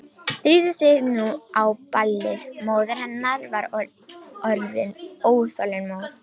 Drífðu þig nú á ballið, móðir hennar var orðin óþolinmóð.